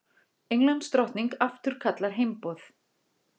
Englandsdrottning afturkallar heimboð